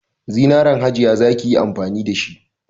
Zinaran Hajiya za ki yi amfani da shi.